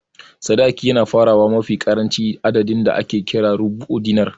Sadaki yana farawa mafi ƙaranci daga adadin da ake kira "Rubu'u Dinar"